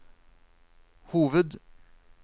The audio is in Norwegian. hoved